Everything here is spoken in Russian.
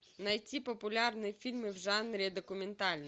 найти популярные фильмы в жанре документальный